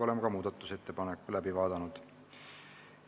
Oleme muudatusettepaneku läbi vaadanud.